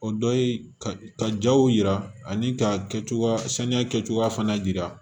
O dɔ ye ka jaw yira ani ka kɛ cogoya saniya kɛcogoya fana yira